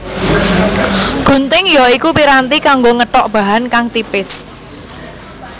Gunting ya iku piranti kanggo ngethok bahan kang tipis